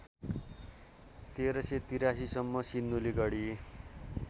१३८३ सम्म सिन्धुलीगढी